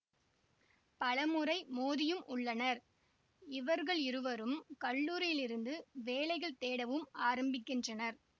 பலமுறை மோதியும் உள்ளனர் இவர்களிருவரும் கல்லூரியிலிருந்து வேலைகள் தேடவும் ஆரம்பிக்கின்றனர்